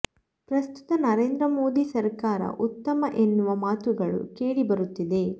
ಪ್ರಸ್ತುತ ನರೇಂದ್ರ ಮೋದಿ ಸರ್ಕಾರ ಉತ್ತಮ ಎನ್ನುವ ಮಾತುಗಳು ಕೇಳಿ ಬರುತ್ತಿದೆ